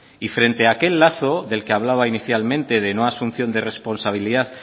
y frente aquel lazo del que hablaba inicialmente de no asunción de responsabilidad